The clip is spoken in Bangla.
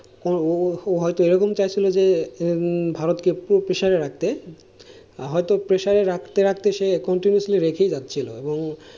ও হয়তো এরকম চাইছিল যে ভারতকে পুরো pressure রাখতে। হয়তো pressure রাখতে রাখতে সে continuously রেখেই যাচ্ছিল এবং,